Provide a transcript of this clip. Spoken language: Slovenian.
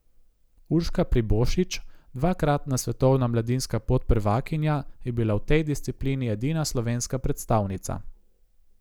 Urška Pribošič, dvakratna svetovna mladinska podprvakinja, je bila v tej disciplini edina slovenska predstavnica.